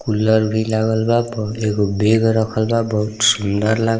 cooler भी लागल बा बह एगो बैग रखल बा बहुत सुन्दर लाग --